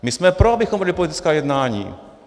My jsme pro, abychom vedli politická jednání.